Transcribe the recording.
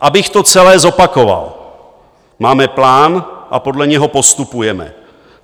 Abych to celé zopakoval: Máme plán a podle něj postupujeme.